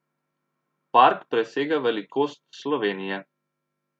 Park presega velikost Slovenije.